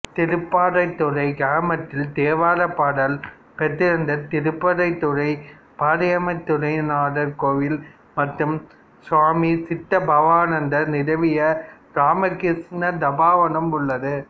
திருப்பராய்த்துறை கிராமத்தில் தேவாரப் பாடல் பெற்ற திருப்பராய்த்துறை பராய்த்துறைநாதர் கோயில் மற்றும் சுவாமி சித்பவானந்தர் நிறுவிய இராமகிருஷ்ண தபோவனம் உள்ளது